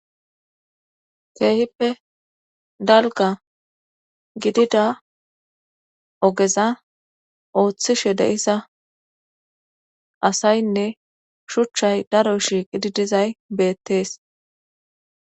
keehippe dalga gidida ogeza ooththishe de7isa asaynne shuchchay daro shiiqididizay beettees